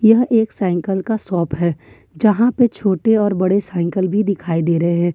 यह एक साइकल का शॉप है यहां पे छोटे और बड़े साइकल भी दिखाई दे रहे हैं।